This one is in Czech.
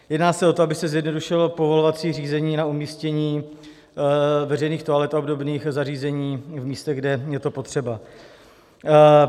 Jedná s o to, aby se zjednodušilo povolovací řízení na umístění veřejných toalet a obdobných zařízení v místech, kde je to potřeba.